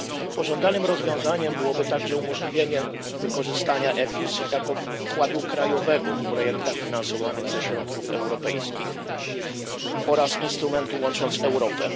Pożądanym rozwiązaniem byłoby także umożliwienie wykorzystania EFIS jako wkładu krajowego w projektach finansowanych ze środków europejskich oraz instrumentu Łącząc Europęˮ.